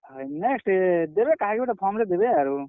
ହଏ next ଦେବେ କାହାକେ ଗୁଟେ form ରେ ଦେବେ ଆରୁ।